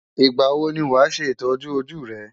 Ìgbà wo ni wàá ṣe ìtọ́jú ojú rẹ?